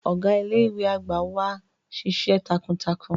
Ọga ile-iwe agba wa nšiṣ̌ẹ takuntakun.